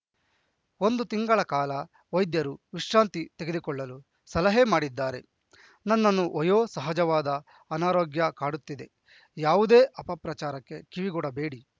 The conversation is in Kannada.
ಒಂದು ತಿಂಗಳ ಕಾಲ ವೈದ್ಯರು ವಿಶ್ರಾಂತಿ ತೆಗೆದುಕೊಳ್ಳಲು ಸಲಹೆ ಮಾಡಿದ್ದಾರೆ ನನ್ನನ್ನು ವಯೋ ಸಹಜವಾದ ಅನಾರೋಗ್ಯ ಕಾಡುತ್ತಿದೆ ಯಾವುದೇ ಅಪಪ್ರಚಾರಕ್ಕೆ ಕಿವಿಗೊಡಬೇಡಿ